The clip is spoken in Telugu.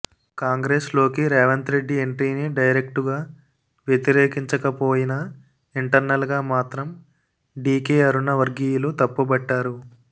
కాంగ్రెస్ లోకి రేవంత్ రెడ్డి ఎంట్రీని డైరెక్టుగా వ్యతిరేకించకపోయిన ఇంటర్నల్ గా మాత్రం డికే అరుణ వర్గీయులు తప్పుబట్టారు